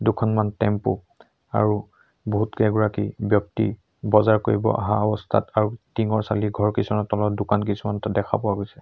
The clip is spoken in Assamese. দুখনমান টেম্পো আৰু বহুত কেইগৰাকী ব্যক্তি বজাৰ কৰিব অহা অৱস্থাত আৰু টিঙৰ চালিৰ ঘৰ কিছুমানৰ তলত দোকান কিছুমান দেখা পোৱা গৈছে।